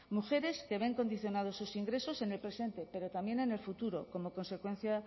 mujeres que ven condicionados sus ingresos en el presente pero también en el futuro como consecuencia